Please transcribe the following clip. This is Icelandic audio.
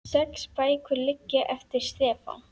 Sex bækur liggja eftir Stefán